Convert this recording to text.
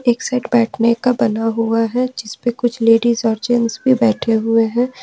एक साइड बैठने का बना हुआ है जिस पर कुछ लेडिस और जेंट्स भी बैठे हुए हैं।